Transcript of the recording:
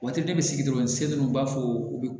Waati dɔ bɛ sigi dɔrɔn se dun u b'a fɔ u bɛ